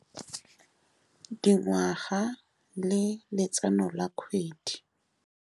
Dingwaga le letseno la kgwedi.